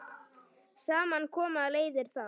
Saman koma leiðir þar.